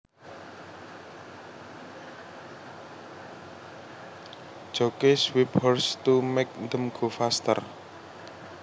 Jockeys whip horses to make them go faster